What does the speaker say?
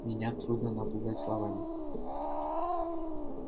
меня трудно напугать словами